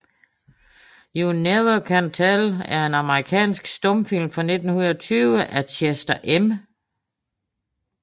You Never Can Tell er en amerikansk stumfilm fra 1920 af Chester M